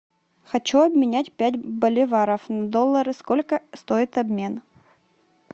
хочу обменять пять боливаров на доллары сколько стоит обмен